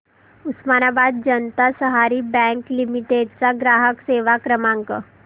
उस्मानाबाद जनता सहकारी bank limited चा ग्राहक सेवा क्रमांक